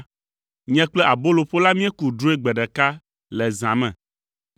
nye kple aboloƒola míeku drɔ̃e gbe ɖeka le zã me.